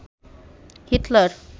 Hitler